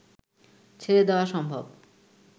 ছেড়ে দেওয়া সম্ভব